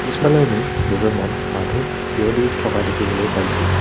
পিছফালে কেইজনমান মানুহ থিয় দি থকা দেখিবলৈ পাইছোঁ।